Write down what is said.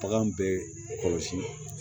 Bagan bɛ kɔlɔsi